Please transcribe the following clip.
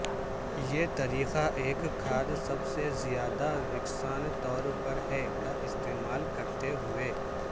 یہ طریقہ ایک کھاد سب سے زیادہ یکساں طور پر ہے کا استعمال کرتے ہوئے